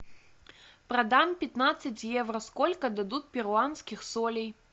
продам пятнадцать евро сколько дадут перуанских солей